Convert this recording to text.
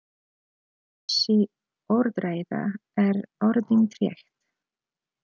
Þessi orðræða er orðin þreytt!